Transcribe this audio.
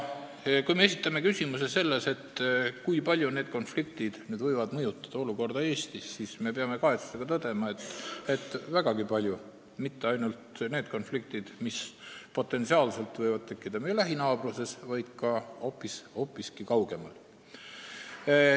Kui me esitame küsimuse, kui palju võivad need konfliktid mõjutada olukorda Eestis, siis me peame kahetsusega tõdema, et vägagi palju, ja mitte ainult need konfliktid, mis võivad potentsiaalselt tekkida meie lähinaabruses, vaid ka hoopis kaugemal.